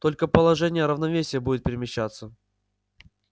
только положение равновесия будет перемещаться